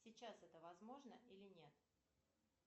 сейчас это возможно или нет